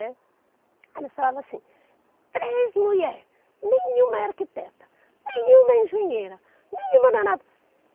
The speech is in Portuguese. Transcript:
Né. Eles falavam assim, três mulheres, nenhuma é arquiteta, nenhuma é engenheira, nenhuma não é nada.